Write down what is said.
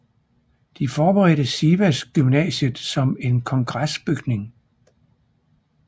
De forberedte Sivas gymnasiet som en kongresbygning